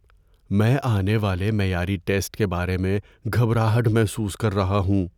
میں آنے والے معیاری ٹیسٹ کے بارے میں گھبراہٹ محسوس کر رہا ہوں۔